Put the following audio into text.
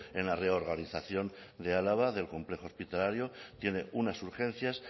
en la reorganización de álava del complejo hospitalario tiene unas urgencias